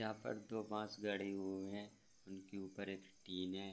यहाँ पर दो बांस गढ़ी हुए हैं उनके ऊपर एक टिन है।